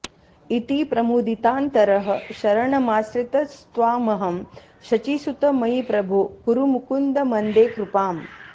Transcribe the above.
इति प्रमुदितान्तरः शरणमाश्रितस्त्वामहं शचीसुत मयि प्रभो कुरु मुकुन्द मन्दे कृपाम्